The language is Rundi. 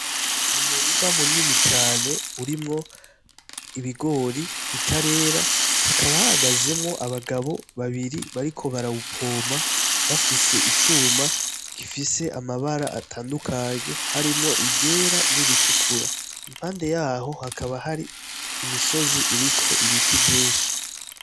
Umurima munini cane urimwo ibigori bitarera hakaba hahagazemwo abagabo babiri bariko barawupoma bafise icuma gifise amabara atandukanye harimwo iryera n'iritukura impande yaho hakaba hari imisozi iriko ibiti vyinshi.